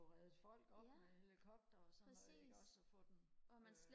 få reddet folk op med helikopter og sådan noget ikke også og få dem øh